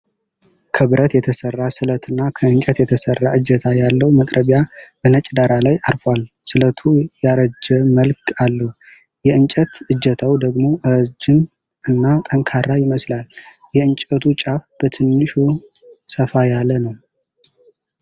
ከብረት የተሰራ ስለትና ከእንጨት የተሰራ እጀታ ያለው መጥረቢያ በነጭ ዳራ ላይ አርፏል። ስለቱ ያረጀ መልክ አለው፣ የእንጨት እጀታው ደግሞ ረጅም እና ጠንካራ ይመስላል። የእንጨቱ ጫፍ በትንሹ ሰፋ ያለ ነው።